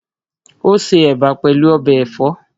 Ó se Ẹ̀bà pẹ̀lú ọbẹ̀ ẹ̀fọ́